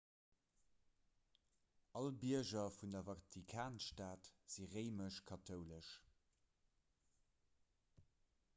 all bierger vun der vatikanstad si réimesch-kathoulesch